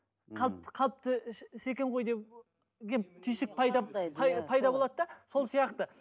қалыпты қалыпты іс іс екен ғой деп түйсік пайда пайда болады да сол сияқты